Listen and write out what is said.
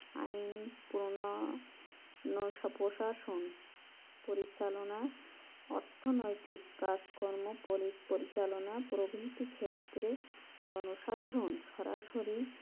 আইন প্রনন প্রশাসন পরিচালনার অর্থ নৈতিক কাজকর্ম পুলিশ পরিচালনা প্রভৃতি ক্ষেত্রে জনসাধারণ সরাসরি